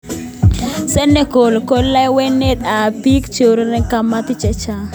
Senegal ko lewenet ab biik cheurereni Kamari chechang.